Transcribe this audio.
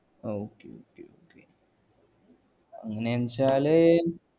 ah okay okay okay അങ്ങാന്നുവച്ചാല്